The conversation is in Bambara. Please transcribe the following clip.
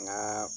Nka